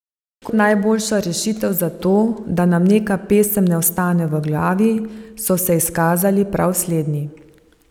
Kot najboljša rešitev za to, da nam neka pesem ne ostane v glavi, so se izkazali prav slednji.